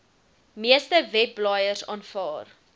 meeste webblaaiers aanvaar